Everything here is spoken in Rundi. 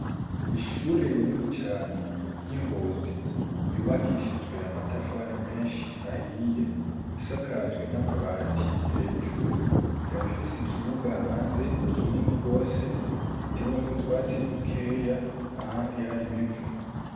Ishure rinini cane ry'i Ngozi ryubakishijwe amatafari menshi ahiye, isakajwe n'amabati hejuru, ikaba ifise ikibuga hanze kinini rwose gitewemwo utwatsi dukeya ahandi hari ibivu.